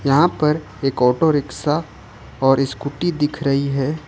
यहां पर एक ऑटो रिक्शा और स्कूटी दिख रही है।